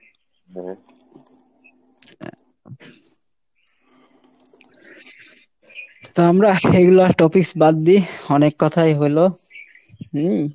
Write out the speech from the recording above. তো আমরা এইগুলা topics বাদ দেই, অনেক কোথায় হলো, হম